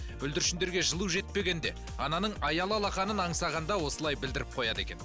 бүлдіршіндерге жылу жетпегенде ананың аялы алақанын аңсағанда осылай білдіріп қояды екен